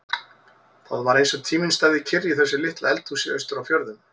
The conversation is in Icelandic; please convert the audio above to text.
Það var eins og tíminn stæði kyrr í þessu litla eldhúsi austur á fjörðum.